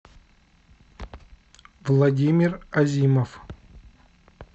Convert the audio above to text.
владимир азимов